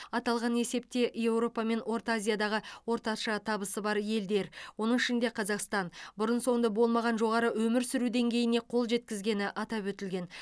аталған есепте еуропа мен орта азиядағы орташа табысы бар елдер оның ішінде қазақстан бұрын соңды болмаған жоғары өмір сүру деңгейіне қол жеткізгені атап өтілген